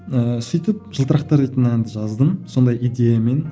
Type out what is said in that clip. ыыы сөйтіп жылтырақтар дейтін әнді жаздым сондай идеямен